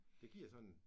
Det giver sådan